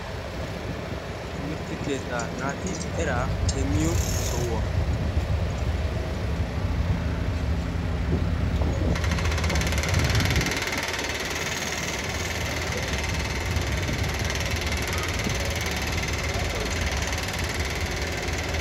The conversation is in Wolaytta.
timirte keetta naati eraa demmiyo sohuwa,